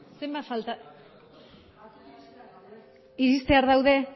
zenbat falta dira iristear daude